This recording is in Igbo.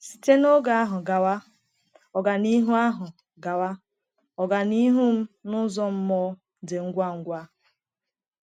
Site n’oge ahụ gawa, ọganihu ahụ gawa, ọganihu m n’ụzọ mmụọ dị ngwa ngwa.